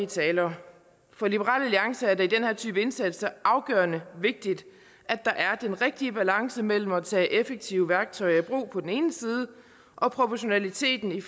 talere for liberal alliance er det her type indsatser afgørende vigtigt at der er den rigtige balance mellem at tage effektive værktøjer i brug på den ene side og proportionaliteten i